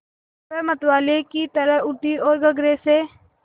वह मतवाले की तरह उठी ओर गगरे से